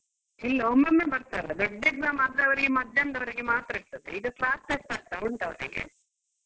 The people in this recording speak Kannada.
ಇಲ್ಲ ಒಮ್ಮೊಮ್ಮೆ ಬರ್ತಾರೆ ದೊಡ್ಡ exam ಮದ್ಯಾಹ್ನದೊರೆಗೆ ಮಾತ್ರ ಇರ್ತದೆ ಇದು class test ಆಗ್ತಾ ಉಂಟು ಅವರಿಗೆ.